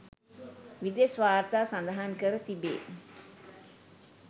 විදෙස් වාර්තා සඳහන් කර තිබේ